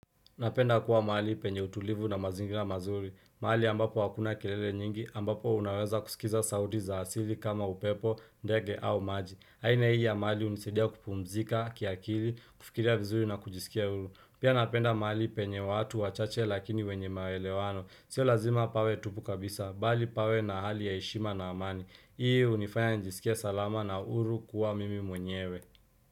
Napenda kuwa mahali penye utulivu na mazingira mazuri. Mahali ambapo hakuna kilele nyingi, ambapo unaweza kusikiza sauti za asili kama upepo, ndege au maji. Haina hii ya mahali hunisaidia kupumzika, kiakili, kufikiria vizuri na kujisikia huru. Pia napenda mahali penye watu, wachache lakini wenye maelewano. Sio lazima pawe tupu kabisa, bali pawe na hali ya heshima na amani. Hii hunifanya nijisikie salama na huru kuwa mimi mwenyewe.